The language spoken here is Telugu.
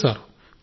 లేదు సార్